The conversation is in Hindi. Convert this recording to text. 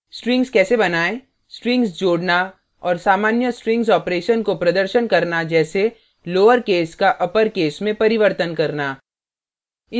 strings case बनायें strings जोड़ना और सामान्य strings operations को प्रदर्शन करना जैसे लोअरकेस का अपरकेस में परिवर्तन करना